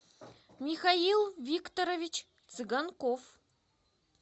михаил викторович цыганков